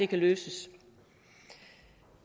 kan løses